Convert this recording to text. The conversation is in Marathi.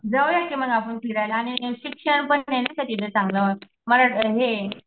जाऊया कि मग आपण फिरायला आणि शिक्षणपणे नाहीका तिथं चांगलं मारा हे